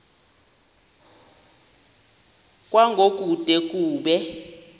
kwango kude kube